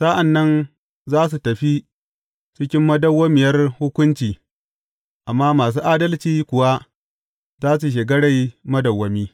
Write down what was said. Sa’an nan za su tafi cikin madawwamiyar hukunci, amma masu adalci kuwa za su shiga rai madawwami.